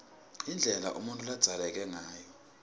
indlela umuntfu ladzaleke ngayo